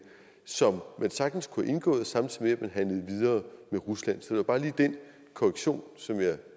som man sagtens kunne have indgået samtidig med handlede videre med rusland det var bare lige den korrektion som jeg